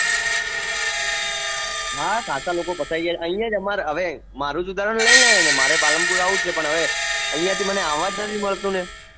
હા ખાશા લોકો ફસાયા આયા છે ઐયા અમારે હવે અ મારું ઉદાહરણ લે ને મારે પાલનપુર આવું છે પણ હવે મને ઐયા થી આવા જ નથી મળતું ને